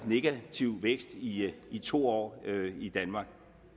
negativ vækst i i to år i danmark